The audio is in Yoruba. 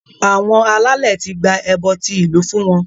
Àwọn alálẹ̀ ti gba ẹbọ tí ìlú fún wọn